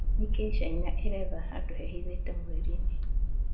Nĩkĩ China ĩretha handũ hehithĩte mweri-inĩ?